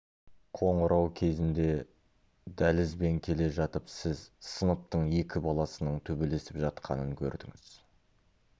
қоңырау кезінде дәлізбен келе жатып сіз сыныптың екі баласының төбелесіп жатқанын көрдіңіз